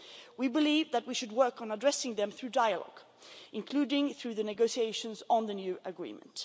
We believe that we should work on addressing them through dialogue, including through the negotiations on the new agreement.